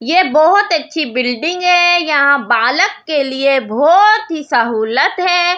यह बहुत अच्छी बिल्डिंग है यहां बालक के लिए बहुत ही सहूलत है।